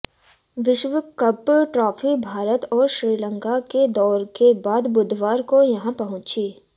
विश्व cup trophy Bharat और श्रीलंका के दौरे के बाद बुधवार को यहां पहुंची